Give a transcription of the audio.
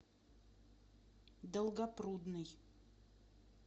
долгопрудный